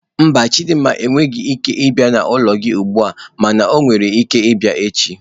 Mba, Chidinma enweghị ike ịbia n'ụlọ gị ugbu a mana ọ nwere ike ịbịa echi.